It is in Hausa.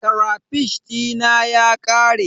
Karafish dina ya ƙare.